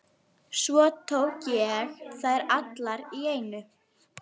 Vill ekki láta bera neitt á sér.